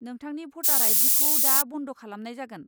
नोंथांनि भटा'र I. D. खौ दा बन्द' खालामनाय जागोन।